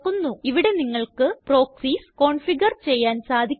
ഇവിടെ നിങ്ങള്ക്ക് proxies configure ചെയ്യാന് സാധിക്കും